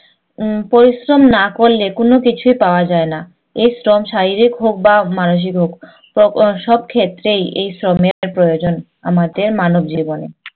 উম পরিশ্রম না করলে কোনকিছুই পাওয়া যায় না। এই শ্রম শারীরিক হোক বা মানসিক হোক। সবক্ষেত্রেই এই শ্রমের প্রয়োজন আমাদের মানবজীবনে।